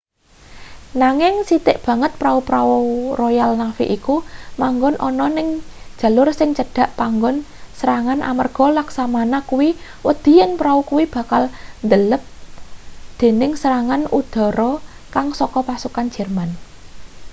nanging sithik banget pra-prau royal navy iku manggon ana ning jalur sing cedhak panggon serangan amarga laksamana kuwi wedi yen prau kuwi bakal ndelep dening serangan udara kaya saka pasukan jerman